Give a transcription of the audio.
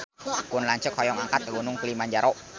Pun lanceuk hoyong angkat ka Gunung Kilimanjaro